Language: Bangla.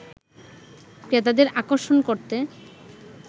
ক্রেতাদের আকর্ষণ করতে